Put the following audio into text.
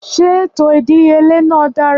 Ṣé ètò ìdíyelé náà dára